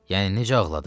Yəni necə ağladı?